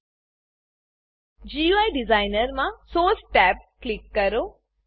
GUI designer GUI ડીઝાઇનરમાં source source tab click કરો